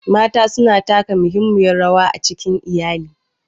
Mata suna taka muhimmiyar rawa a cikin iyali.